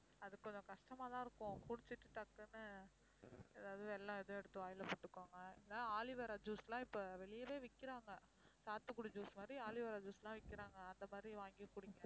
அது கொஞ்சம் கஷ்டமாதான் இருக்கும் குடிச்சிட்டு டக்குனு ஏதாவது வெல்லம் ஏதும் எடுத்து வாயில போட்டுக்கோங்க. இல்லனா aloe vera juice லாம் இப்போ வெளியவே விக்கறாங்க. சாத்துக்குடி juice மாதிரி aloe vera juice லாம் விக்கிறாங்க அந்த மாதிரி வாங்கி குடிங்க